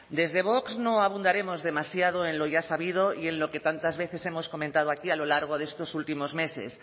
desde vox no abundaremos demasiado en lo ya sabido y en lo que tantas veces hemos comentado aquí a lo largo de estos últimos meses